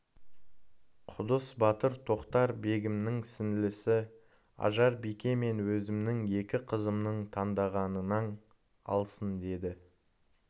құдыс батыр тоқтар-бегімнің сіңлісі ажар бике мен өзімнің екі қызымның таңдағанын алсындеді